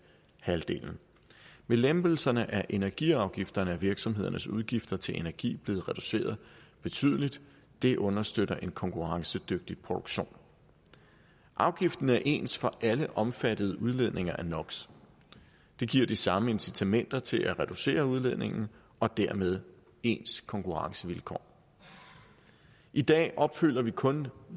halvdelen ved lempelserne af energiafgifterne er virksomhedernes udgifter til energi blevet reduceret betydeligt det understøtter en konkurrencedygtig produktion afgiften er ens for alle omfattede udledninger af no det giver de samme incitamenter til at reducere udledningen og dermed ens konkurrencevilkår i dag opfylder vi kun